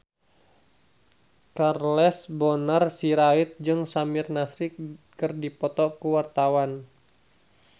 Charles Bonar Sirait jeung Samir Nasri keur dipoto ku wartawan